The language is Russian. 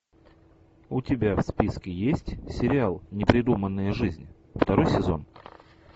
у тебя в списке есть сериал непридуманная жизнь второй сезон